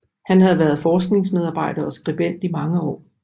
Han havde været forskningsmedarbejder og skribent i mange år